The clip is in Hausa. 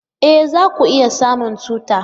E! za ku iya samun tuta.